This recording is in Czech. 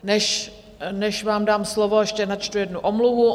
Než vám dám slovo, ještě načtu jednu omluvu.